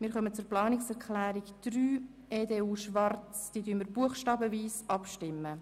Wir kommen zur Planungserklärung 3 EDU/Schwarz und stimmen buchstabenweise über diese ab.